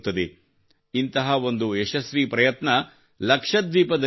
ಇಂತಹ ಒಂದು ಯಶಸ್ವೀ ಪ್ರಯತ್ನ ಲಕ್ಷದ್ವೀಪದಲ್ಲಿ ನಡೆಯುತ್ತಿದೆ